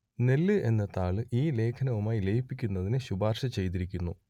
നെല്ല് എന്ന താൾ ഈ ലേഖനവുമായി ലയിപ്പിക്കുന്നതിന് ശുപാർശ ചെയ്തിരിക്കുന്നു